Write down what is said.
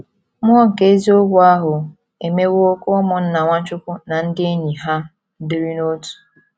“ Mmụọ nke eziokwu ahụ ” emewo ka ụmụnna Nwachukwu na ndị enyi ha dịrị n’otu.